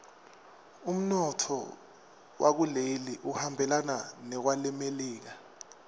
umnotfo wakuleli uhambelana newelemelika